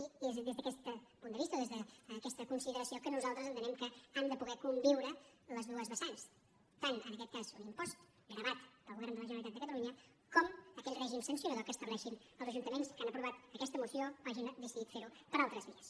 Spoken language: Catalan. i és des d’aquest punt de vista o des d’aquesta consideració que nosaltres entenem que han de poder conviure les dues vessants tant en aquest cas un impost gravat pel govern de la generalitat de catalunya com aquell règim sancionador que estableixin els ajuntaments que han aprovat aquesta moció o hagin decidit ferho per altres vies